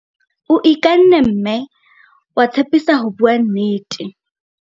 o ikanne mme wa tshepisa ho bua nnete